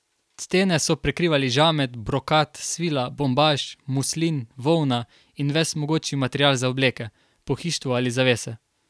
Stene so prekrivali žamet, brokat, svila, bombaž, muslin, volna in ves mogoči material za obleke, pohištvo ali zavese.